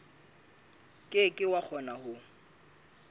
ke ke wa kgona ho